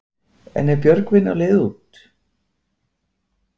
En er Björgvin á leiðinni út?